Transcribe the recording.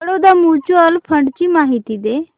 Baroda mutual fund ची माहिती दे